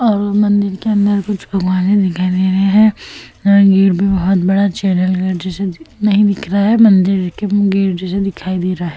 और मंदिर के अंदर कुछ भगवाने दिखाई दे रहे है। गेट पे बहोत बड़ा चैनल गेट जैसा नही दिख रहा है मंदिर के गेट जैसा दिखाई दे रहा है।